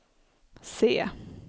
C